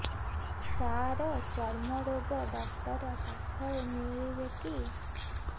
ସାର ଚର୍ମରୋଗ ଡକ୍ଟର ପାଖରେ ମିଳିବେ କି